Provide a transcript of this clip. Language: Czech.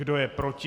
Kdo je proti?